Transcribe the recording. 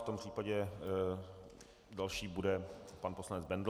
V tom případě další bude pan poslanec Bendl.